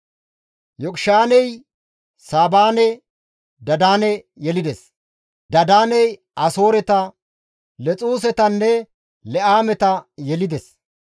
Yoqishaaney Saabanne Dadaane yelides; Dadaaney Asooreta, Lexuusetanne Le7aameta yelides.